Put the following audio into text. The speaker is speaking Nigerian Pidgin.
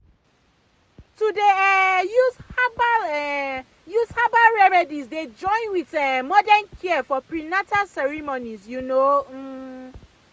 to dey um use herbal um use herbal remedies dey join with um modern care for prenatal ceremonies you know um